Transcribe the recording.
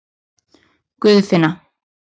Guðfinna